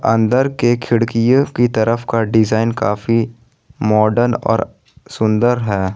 अंदर के खिड़कियों की तरफ का डिजाइन काफी माडर्न और सुंदर है।